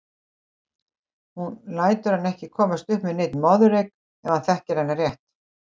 Hún lætur hann ekki komast upp með neinn moðreyk ef hann þekkir hana rétt.